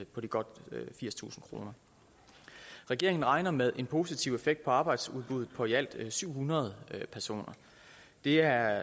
godt firstusind kroner regeringen regner med en positiv effekt på arbejdsudbuddet på i alt syv hundrede personer det er